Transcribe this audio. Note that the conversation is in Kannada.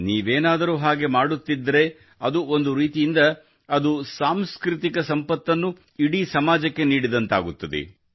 ನೀವೇನಾದರೂ ಹಾಗೆ ಮಾಡುತ್ತಿದ್ದರೆ ಅದು ಒಂದು ರೀತಿಯಿಂದ ಒಂದು ಸಾಂಸ್ಕೃತಿಕ ಸಂಪತ್ತನ್ನು ಇಡೀ ಸಮಾಜಕ್ಕೆ ನೀಡಿದಂತಾಗುತ್ತದೆ